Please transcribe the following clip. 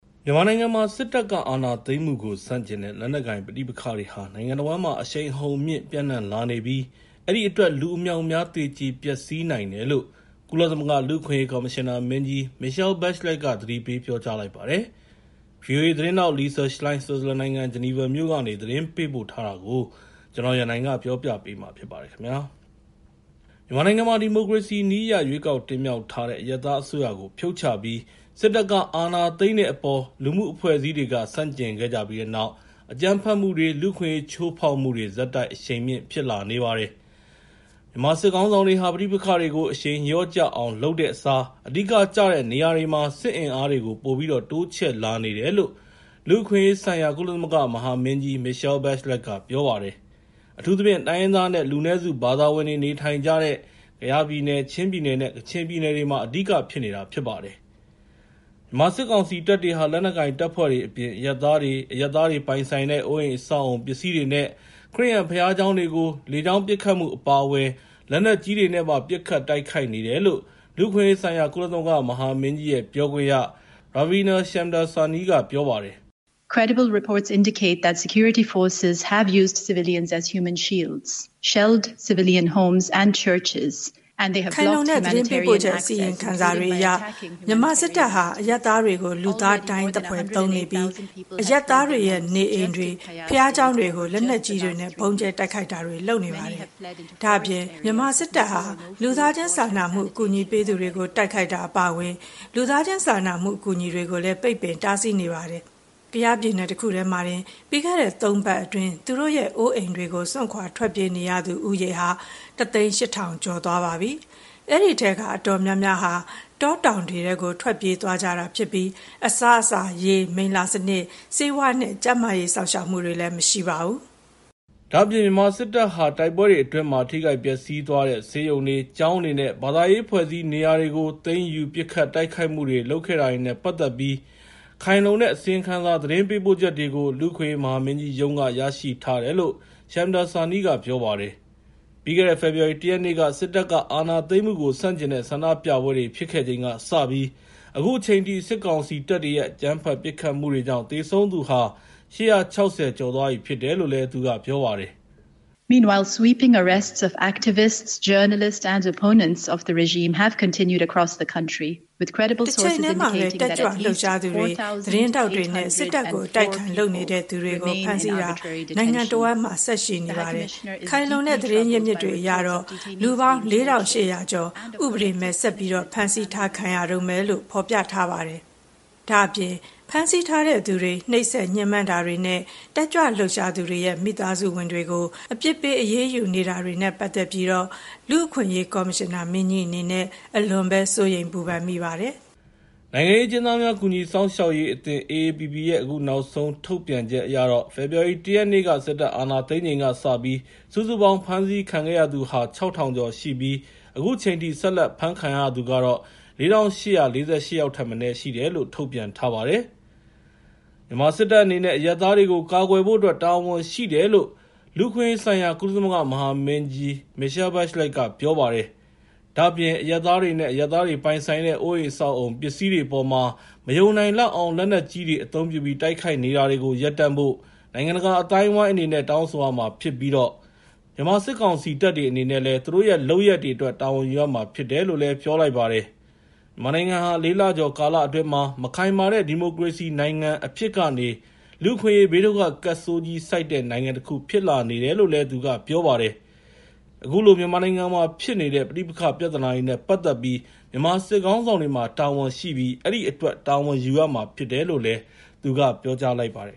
မြန်မာနိုင်ငံမှာ စစ်တပ်က အာဏာသိမ်းမှုကို ဆန့်ကျင်တဲ့ လက်နက်ကိုင် ပဋိပက္ခတွေဟာ နိုင်ငံတဝန်းမှာ အရှိန်အဟုန်မြှင့် ပျံ့နှံ့လာနေပြီး အဲဒီအတွက် လူအမြောက်အမြား သေကျေပျက်စီးနိုင်တယ်လို့ ကုလသမဂ္ဂ လူ့အခွင့်အရေး ကော်မရှင်နာမင်းကြီး Michelle Bachelet က သတိပေး ပြောလိုက်ပါတယ်။ ဗွီအိုအေ သတင်းထောက် Lisa Schlein ဆွစ်ဇာလန်နိုင်ငံ ဂျီနီဗာမြို့ကနေ သတင်းပေးပို့ထားတာကို ကိုရန်နိုင်က တင်ပြပေးထားပါတယ်။ မြန်မာနိုင်ငံမှာ ဒီမိုကရေစီနည်းအရ ရွေးကောက်တင်မြှောက်လိုက်တဲ့ အရပ်သားအစိုးရကို ဖြုတ်ချပြီး စစ်တပ်က အာဏာသိမ်းတဲ့အပေါ် လူမှုအဖွဲ့အစည်းတွေက ဆန့်ကျင်ခဲ့ကြတဲ့နောက် အကြမ်းဖက်မှုတွေ လူ့အခွင့်အရေး ချိုးဖောက်မှုတွေ ဆက်တိုက် အရှိန်မြင့် ဖြစ်လာနေပါတယ်။ မြန်မာစစ်ခေါင်းဆောင်တွေဟာ ပဋိပက္ခတွေကို အရှိန်လျော့ကျအောင် လုပ်တဲ့အစား အဓိကကျတဲ့ နေရာတွေမှာ စစ်အင်အားတွေကို ပိုပြီးတော့ တိုးချဲ့လာနေတယ်လို့ လူ့အခွင့်အရေးဆိုင်ရာ ကုလသမဂ္ဂ မဟာမင်းကြီး Michelle Bachelet က ပြောပါတယ်။ အထူးသဖြင့် တိုင်းရင်းသားနဲ့ လူနည်းစု ဘာသာဝင်တွေ နေထိုင်ကြတဲ့ ကယားပြည်နယ်၊ ချင်းပြည်နယ်နဲ့ ကချင်ပြည်နယ်တွေမှာ အဓိကဖြစ်နေတာ ဖြစ်ပါတယ်။ မြန်မာစစ်ကောင်စီတပ်တွေဟာ လက်နက်ကိုင်တပ်ဖွဲ့တွေအပြင် အရပ်သားတွေ၊ အရပ်သားတွေ ပိုင်ဆိုင်တဲ့ အိုးအိမ်အဆောက်အအုံ ပစ္စည်းတွေနဲ့ ခရစ်ယာန်ဘုရားကျောင်းတွေကို လေကြောင်းပစ်ခတ်မှု အပါအဝင် လက်နက်ကြီးတွေနဲ့ပါ ပစ်ခတ်တိုက်ခိုက်နေတယ်လို့ လူ့အခွင့်အရေးဆိုင်ရာ ကုလသမဂ္ဂ မဟာမင်းကြီးရဲ့ ပြောခွင့်ရ Ravia Shamdasani က ပြောလိုက်ပါတယ်။ “ခိုင်လုံတဲ့ သတင်းပေးပို့ချက် အစီရင်ခံစာတွေအရ မြန်မာစစ်တပ်ဟာ အရပ်သားတွေကို လူသားဒိုင်းသဖွယ် အသုံးပြုနေပြီး အရပ်သားတွေရဲ့ နေအိမ်တွေ၊ ဘုရားကျောင်းတွေကို လက်နက်ကြီးတွေနဲ့ ဗုံးကြဲတိုက်ခိုက်တာတွေ လုပ်နေပါတယ်။ ဒါ့အပြင် မြန်မာစစ်တပ်ဟာ လူသားချင်းစာနာမှု အကူအညီပေးသူတွေကို တိုက်ခိုက်တာတွေ အပါအဝင် လူသားချင်းစာနာမှု အကူအညီတွေကို ပိတ်ပင်တားဆီး နေပါတယ်။ ကယားပြည်နယ် တခုတည်းမှာတင် ပြီးခဲ့တဲ့ ၃ ပတ်အတွင်း သူတို့ရဲ့ အိုးအိမ်တွေကို စွန့်ခွာထွက်ပြေးနေသူဦးရေဟာ ၁၀၈,၀၀၀ ကျော်သွားပြီ ဖြစ်ပါတယ်။ အဲဒီထဲက အတော်များများက တောတောင်တွေထဲကို ထွက်ပြေးသွားကြတာဖြစ်ပြီး အစားအစာ၊ ရေ၊ မိလ္လာစနစ်၊ ဆေးဝါးနဲ့ ကျန်းမာရေးစောင့်ရှောက်မှုတွေ မရှိပါဘူး။” ဒါ့အပြင် မြန်မာစစ်တပ်ဟာ တိုက်ပွဲတွေအတွင်းမှာ ထိခိုက်ပျက်စီးသွားတဲ့ ဆေးရုံတွေ၊ ကျောင်းတွေနဲ့ ဘာသာရေးအဖွဲ့အစည်း နေရာတွေကို သိမ်းယူ ပစ်ခတ်တိုက်ခိုက်မှုတွေ လုပ်ခဲ့တာတွေနဲ့ ပတ်သက်ပြီး ခိုင်လုံတဲ့ အစီရင်ခံစာ သတင်းပေးပို့ချက်တွေကို လူ့အခွင့်အရေး မဟာမင်းကြီးရုံးက ရရှိထားတယ်လို့ Shamdasani က ပြောပါတယ်။ ပြီးခဲ့တဲ့ ဖေဖော်ဝါရီ ၁ ရက်နေ့က စစ်တပ်က အာဏာသိမ်းမှုကို ဆန့်ကျင်တဲ့ ဆန္ဒပြပွဲတွေ ဖြစ်ခဲ့ချိန်ကစပြီး အခုချိန်အထိ စစ်ကောင်စီတပ်တွေရဲ့ အကြမ်းဖက် ပစ်ခတ်မှုတွေကြောင့် သေဆုံးသူဟာ ၈၆၀ ကျော်သွားပြီ ဖြစ်တယ်လို့ သူကပြောပါတယ်။ “တချိန်တည်းမှာပဲ တက်ကြွလှုပ်ရှားသူတွေ၊ သတင်းထောက်တွေနဲ့ စစ်တပ်ကို အတိုက်အခံ လုပ်သူတွေကို ဖမ်းဆီးတာတွေ နိုင်ငံတဝန်းမှာ ဆက်လုပ်နေပြီး ခိုင်လုံတဲ့ သတင်းအရင်းအမြစ်တွေ အရတော့ လူပေါင်း ၄,၈၀၀ ကျော် ဥပဒေမဲ့ ဆက်ပြီးတော့ ဖမ်းဆီးခံထားရတုန်းပဲ ဖြစ်တယ်လို့ ဖော်ပြနေပါတယ်။ ဒါ့အပြင် ဖမ်းဆီးထားတဲ့သူတွေ ညှဉ်းပန်းနှိပ်စက်တာတွေနဲ့ တက်ကြွလှုပ်ရှားသူတွေရဲ့ မိသားစုဝင်တွေကို အပြစ်ပေး အရေးယူတာတွေနဲ့ ပတ်သက်ပြီးတော့ လူ့အခွင့်အရေး ကော်မရှင်နာမင်းကြီး အနေနဲ့ အလွန်ပဲ စိုးရိမ်ပူပန်မိပါတယ်။” နိုင်ငံရေးအကျဉ်းသားများ ကူညီစောင့်ရှောက်ရေးအသင်း (AAPP) ရဲ့ အခုနောက်ဆုံး ထုတ်ပြန်ချက်အရတော့ ဖေဖော်ဝါရီ ၁ ရက်နေ့ စစ်တပ်အာဏာသိမ်းချိန်ကစပြီး စုစုပေါင်း ဖမ်းဆီးခံရသူဟာ ၆,၀၀၀ ကျော်ရှိပြီး အခုချိန်ထိ ဆက်လက်ဖမ်းခံရသူကတော့ ၄,၈၄၈ ယောက်ထက်မနည်း ရှိတယ်လို့ ထုတ်ပြန်ထားပါတယ်။ မြန်မာစစ်တပ်အနေနဲ့ အရပ်သားတွေကို ကာကွယ်ဖို့အတွက် တာဝန်ရှိတယ်လို့ လူ့အခွင့်အရေးဆိုင်ရာ ကုလမဟာမင်းကြီး Michelle Bachelet က ပြောလိုက်ပါတယ်။ ဒါ့အပြင် အရပ်သားတွေနဲ့ အရပ်သားတွေပိုင်ဆိုင်တဲ့ အိုးအိမ် အဆောက်အအုံ ပစ္စည်းတွေအပေါ်မှာ မယုံနိုင်လောက်အောင် လက်နက်ကြီးတွေ အသုံးပြုပြီး တိုက်ခိုက်နေတာတွေကို ရပ်တန့်ဖို့ နိုင်ငံတကာ အသိုင်းအဝိုင်း အနေနဲ့ တောင်းဆိုရမှာဖြစ်ပြီး မြန်မာစစ်ကောင်စီတပ်တွေ အနေနဲ့ သူတို့ရဲ့ လုပ်ရပ်တွေအတွက် တာဝန်ယူရမှာ ဖြစ်တယ်လို့လည်း ပြောလိုက်ပါတယ်။ မြန်မာနိုင်ငံဟာ ၄ လကျော် ကာလအတွင်းမှာပဲ မခိုင်မာတဲ့ ဒီမိုကရေစီနိုင်ငံ အဖြစ်ကနေ လူ့အခွင့်အရေး ဘေးဒုက္ခကပ်ဆိုးကြီး ဆိုက်တဲ့ နိုင်ငံတခု ဖြစ်လာနေတယ်လို့လည်း သူကပြောပါတယ်။ အခုလို မြန်မာနိုင်ငံမှာဖြစ်နေတဲ့ ပဋိပက္ခ ပြဿနာနဲ့ ပတ်သက်ပြီး မြန်မာစစ်ခေါင်းဆောင်တွေမှာ တာဝန်ရှိပြီး အဲဒီအတွက် တာဝန်ယူရမှာ ဖြစ်တယ်လို့လည်း သူကပြောလိုက်ပါတယ်